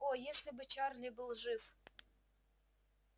о если бы чарли был жив